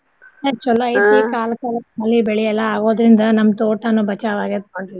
ಏ ಚೊಲೋ ಕಾಲ ಕಾಲಕ್ ಮಳಿ ಬೆಳಿ ಎಲ್ಲ ಆಗೋದ್ರಿಂದ ನಮ್ ತೋಟಾನು ಬಚಾವ್ ಆಗೇತ್ ನೋಡ್ರಿ ಈಗ.